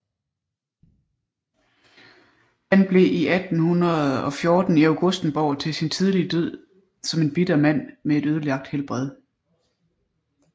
Han blev i 1814 i Augustenborg til sin tidlige død som en bitter mand med et ødelagt helbred